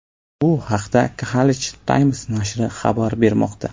Bu haqda Khaleej Times nashri xabar bermoqda .